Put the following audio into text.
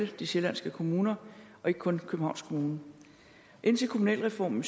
de sjællandske kommuner og ikke kun københavns kommune indtil kommunalreformen